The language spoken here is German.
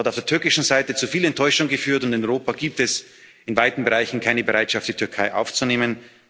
Es hat auf der türkischen Seite zu viel Enttäuschung geführt, und in Europa gibt es in weiten Bereichen keine Bereitschaft, die Türkei aufzunehmen.